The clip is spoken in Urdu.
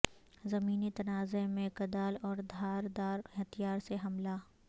زمینی تنازعہ میں کدال اور دھار دار ہتھیار سے حملہ